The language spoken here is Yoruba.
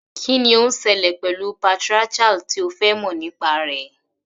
Kí ni ó ń ṣẹlẹ̀ pẹ̀lú patriarchal tí o fẹ́ mọ̀ nípa rẹ̀?